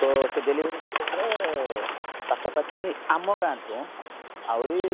ତ ସେ delivery case ରେ ପାଖା ପାଖି ଆମ ଗାଁଠୁ ଆହୁରି